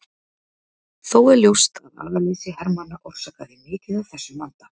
Þó er ljóst að agaleysi hermanna orsakaði mikið af þessum vanda.